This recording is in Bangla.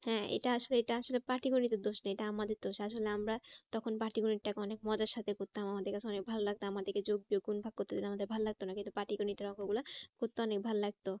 হ্যাঁ এটা আসলে, এটা আসলে পাটিগণিত এর দোষ নয় এটা আমাদের দোষ আসলে আমার তখন পাটিগণিতটাকে অনেক মজার সাথে করতাম আমাদের কাছে অনেক ভালো লাগতো। আমাদেরকে যোগ বিয়োগ গুন ভাগ করতে দিলে আমাদের ভালো লাগতো না কিন্তু পাটিগণতের অঙ্ক গুলো করতে অনেক ভালো লাগতো